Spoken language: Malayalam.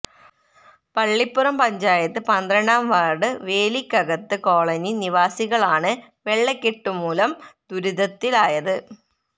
പള്ളിപ്പുറം പഞ്ചായത്ത് പന്ത്രണ്ടാം വാര്ഡ് വേലിക്കകത്ത് കോളനി നിവാസികളാണ് വെള്ളകെട്ടുമുലം ദുരിതത്തിലായത്